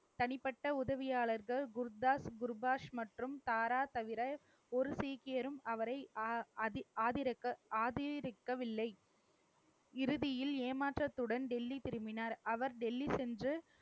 தனிப்பட்ட உதவியாளர்கள் குர்தாஸ், குர்பாஸ் மற்றும் தாரா தவிர ஒரு சீக்கியரும் அவரை அஹ் ஆதி~ அதி~ ஆதரிக்கவில்லை. இறுதியில் ஏமாற்றத்துடன் டெல்லி திரும்பினார். அவர் டெல்லி சென்று,